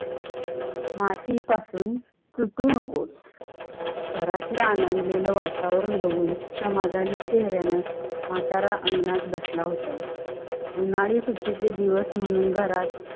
माती पासुन सुटू नकोस, घरत ल्या आंदलेल्या वातावरण बघून समधानी चेहऱ्यानं म्हातारा अंगणात बसला होता. उन्हाळी सुट्टीचे दिवस म्हणून घरात